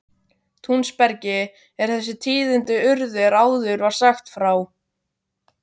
Túnsbergi er þessi tíðindi urðu er áður var frá sagt.